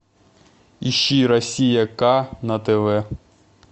ищи россия к на тв